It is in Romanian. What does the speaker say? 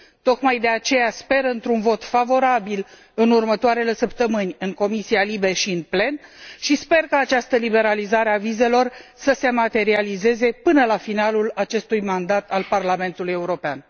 Tocmai de aceea, sper într un vot favorabil în următoarele săptămâni în Comisia LIBE și în plen și sper ca această liberalizare a vizelor să se materializeze până la finalul acestui mandat al Parlamentului European.